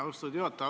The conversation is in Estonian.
Austatud juhataja!